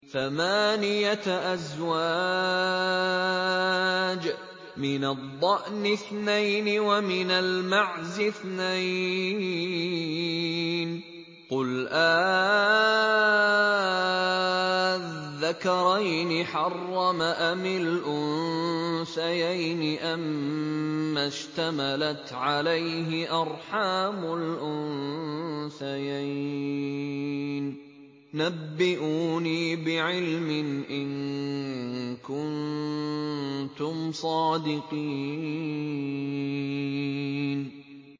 ثَمَانِيَةَ أَزْوَاجٍ ۖ مِّنَ الضَّأْنِ اثْنَيْنِ وَمِنَ الْمَعْزِ اثْنَيْنِ ۗ قُلْ آلذَّكَرَيْنِ حَرَّمَ أَمِ الْأُنثَيَيْنِ أَمَّا اشْتَمَلَتْ عَلَيْهِ أَرْحَامُ الْأُنثَيَيْنِ ۖ نَبِّئُونِي بِعِلْمٍ إِن كُنتُمْ صَادِقِينَ